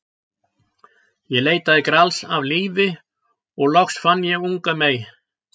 Ég leitaði Grals allt lífið og loks fann ég unga mey.